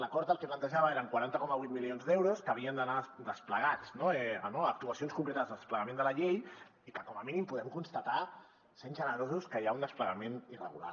l’acord el que plantejava eren quaranta coma vuit milions d’euros que havien d’anar desplegats a actuacions concretes del desplegament de la llei i que com a mínim podem constatar sent generosos que hi ha un desplegament irregular